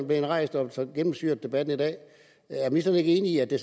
blevet rejst og har gennemsyret debatten i dag er ministeren ikke enig i at det